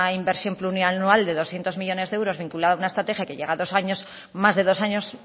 inversión plurianual de doscientos millónes de euros vinculado a una estrategia que llega dos años